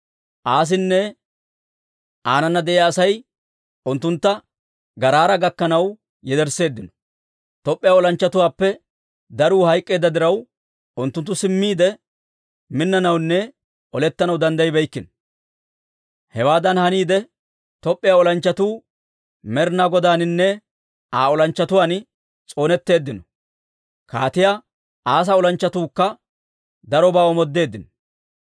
Asinne aanana de'iyaa Asay unttuntta Garaara gakkanaw yedersseeddino. Top'p'iyaa olanchchatuwaappe daruu hayk'k'eedda diraw, unttunttu simmiide minnanawunne olettanaw danddayibeykkino. Hewaadan haniide, Top'p'iyaa olanchchatuu Med'inaa Godaaninne Aa olanchchatuwaan s'oonetteeddino. Kaatiyaa Asaa olanchchatuukka darobaa omoodeeddino.